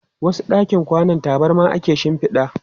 A wasu ɗakin kwanan, tabarma ake shinfida.